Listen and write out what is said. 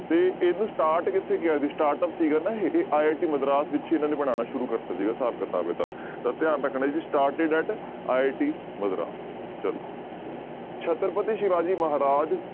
ਤੇ ਇਹਨੂੂੰ start ਕਿੱਥੇ ਕੀਆ ਜੀ startup ਸੀਗਾ ਨਾ ਇਹ, ਇਹ ITI ਮਦਰਾਸ ਵਿੱਚ ਇਹਨਾਂ ਨੇ ਬਣਾਉਣਾ ਸ਼ੁਰੂ ਕਰ ਦਿੱਤਾ ਸੀਗਾ ਹਿਸਾਬ ਕਿਤਾਬ ਇਹਦਾ ਤਾਂ ਧਿਆਨ ਰੱਖਣਾ ਜੀ started at IT ਮਦਰਾਸ ਚਲੋ ਛੱਤਰਪਤੀ ਸਿਵਾ ਜੀ ਮਹਾਰਾਜ